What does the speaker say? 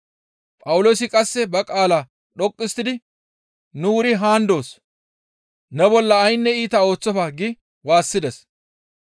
Phawuloosi qasse ba qaalaa dhoqqu histtidi, «Nu wuri haan doos! Ne bolla ayne iita ooththofa» gi waassides.